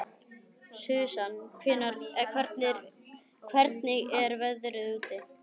Susan, hvernig er veðrið úti?